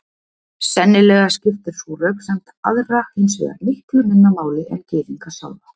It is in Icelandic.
Sennilega skiptir sú röksemd aðra hins vegar miklu minna máli en Gyðinga sjálfa.